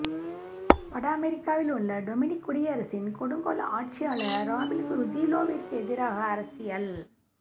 வட அமெரிக்காவில் உள்ள டொமினிக் குடியரசின் கொடுங்கோல் ஆட்சியாளர் ராபீல் ருஜிலோவிற்கு எதிராக அரசியல்